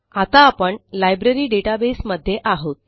आता आपण library database मध्ये आहोत